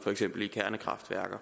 for eksempel i kernekraftværker